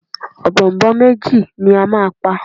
Ọ̀bọ̀ọ̀nbọọ̀n méjì ni a máa pa.